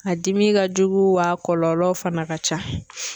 A dimi ka jugu wa kɔlɔlɔw fana ka ca.